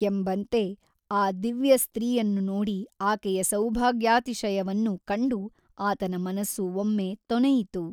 ಎಂಬಂತೆ ಆ ದಿವ್ಯಸ್ತ್ರೀಯನ್ನು ನೋಡಿ ಆಕೆಯ ಸೌಭಾಗ್ಯಾತಿಶಯವನ್ನು ಕಂಡು ಆತನ ಮನಸ್ಸು ಒಮ್ಮೆ ತೊನೆಯಿತು.